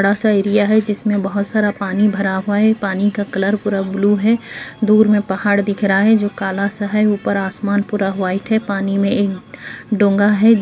बड़ा-सा एरिया है जिसमें बोहोत सारा पानी भरा हुआ पाए पानी का कलर पूरा ब्लू है दूर में पहाड़ दिख रहा है जो काला-सा है ऊपर आसमान पूरा वाइट है पानी में ढोगा है।